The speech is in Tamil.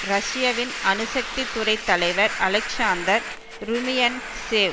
ரஷ்யவின் அணுசக்தி துறை தலைவர் அலெக்சாந்தர் ருமியன்ட்சேவ்